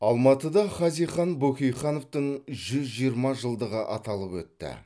алматыда хазихан бөкейхановтың жүз жиырма жылдығы аталып өтті